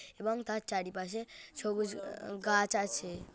এবং তার চারিপাশে সবুজ গাছ আছে।